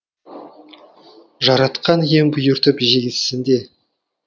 жаратқан ием бұйыртып жегізсін де